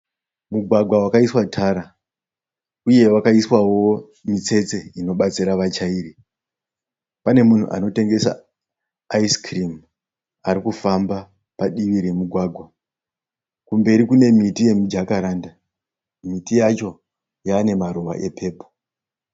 Mugwagwa wakaiswa tara uye wakaiswawo mitsetse inobatsira vachairi. Pane munhu anotengesa Ice Cream arikufamba padivi remugwagwa. Kumberi kune miti yemijakaranda. Miti yacho yava nemaruva epepuro.